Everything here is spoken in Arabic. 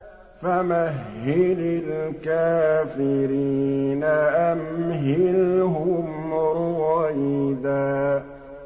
فَمَهِّلِ الْكَافِرِينَ أَمْهِلْهُمْ رُوَيْدًا